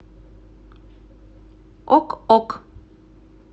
ок ок